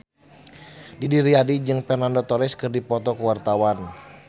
Didi Riyadi jeung Fernando Torres keur dipoto ku wartawan